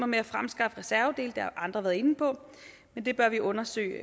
med at fremskaffe reservedele det har andre været inde på men det bør vi undersøge